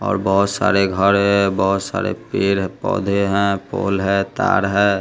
और बहोत सारे घर है बहोत सारे पेड़ पौधे है पोल है तार है।